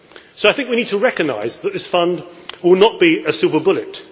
So I think we need to recognise that this Fund will not be a silver bullet.